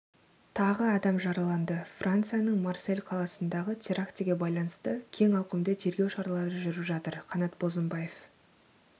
тағы адам жараланды францияның марсель қаласындағы терактіге байланысты кең ауқымды тергеу шаралары жүріп жатыр қанат бозымбаев